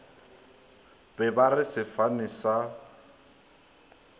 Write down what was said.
be ba re sefane sa